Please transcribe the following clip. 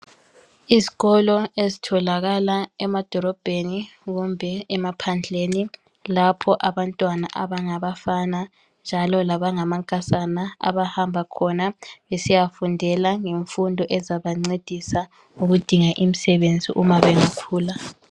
Izikolo ezitholakala emadolobheni kumbe emaphandleni lapho abantwana abangabafana labangamankazana abahamba khona besiyadinga imfundo engabancedisa ukudinga imisebenzi uma bengakhula.